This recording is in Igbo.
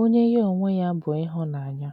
onye ya onwe ya bụ ịhụnanya.